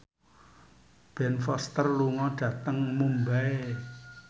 Ben Foster lunga dhateng Mumbai